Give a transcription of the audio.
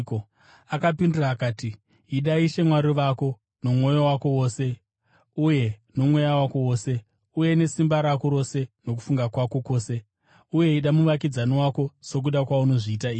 Akapindura akati, “ ‘Ida Ishe Mwari wako nomwoyo wako wose, uye nomweya wako wose, uye nesimba rako rose nokufunga kwako kwose,’ uye ‘Ida muvakidzani wako sokuda kwaunozviita iwe.’ ”